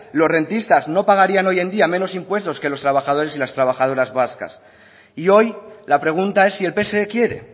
los rentistas no pagarían hoy en día menos impuestos que los trabajadores y las trabajadoras vascas y hoy la pregunta es si el pse quiere